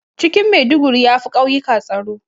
Cikin Maiduguri yafi ƙauyikan tsaro